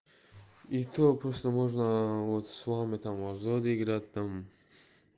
и то просто можно вот с вами там вроде играть там